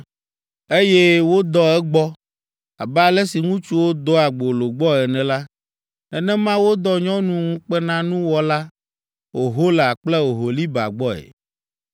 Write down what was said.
Eye wodɔ egbɔ. Abe ale si ŋutsuwo dɔa gbolo gbɔ ene la, nenema wodɔ nyɔnu ŋukpenanuwɔla, Ohola kple Oholiba gbɔe.